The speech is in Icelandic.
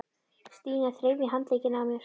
Stína þreif í handlegginn á mér.